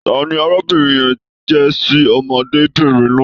Tani arábìnrin yẹ̀n jẹ ṣi ọmọdébinrin náà?